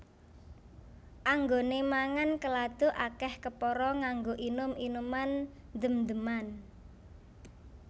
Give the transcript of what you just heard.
Anggone mangan keladuk akeh kepara nganggo inum inuman ndem ndeman